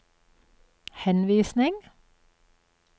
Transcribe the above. henvisning